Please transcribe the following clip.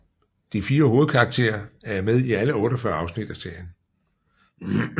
De 4 hovedkarakterer er med i alle 48 afsnit af serien